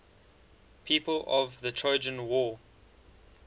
people of the trojan war